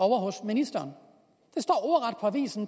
ovre hos ministeren